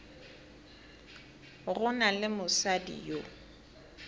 go na le mosadi yo